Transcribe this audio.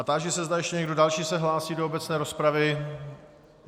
A táži se, zda ještě někdo další se hlásí do obecné rozpravy.